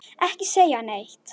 Ekki segja neitt!